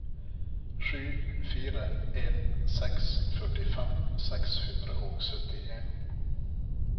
sju fire en seks førtifem seks hundre og syttien